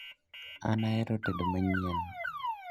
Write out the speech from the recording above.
An ahero tedo manyien